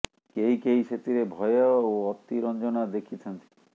କେହି କେହି ସେଥିରେ ଭୟ ଓ ଅତି ରଞ୍ଜନା ଦେଖିଥାନ୍ତି